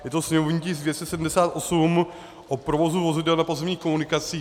Je to sněmovní tisk 278, o provozu vozidel na pozemních komunikacích.